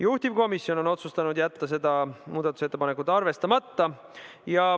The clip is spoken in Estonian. Juhtivkomisjon on otsustanud jätta selle muudatusettepaneku arvestamata.